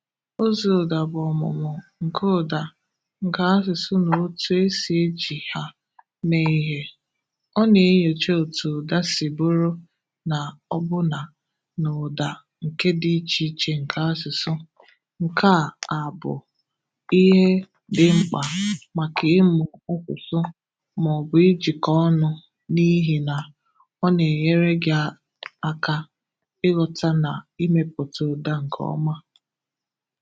Ụzọ ụ̀dà bụ ọmụmụ nke ụ̀dà nke asụsụ na otú e si eji ha mee ihe. Ọ na-enyocha otú ụ̀dà si bụrụ na ọ bụ́nà na ụ̀dà nke dị iche iche nke asụsụ. Nke a a bụ ihe dị mkpa maka ịmụ asụsụ ma ọ bụ ijikọ ọnụ, n’ihi na ọ na-enyere gị aka ịghọta na imepụta ụ̀dà nke ọma.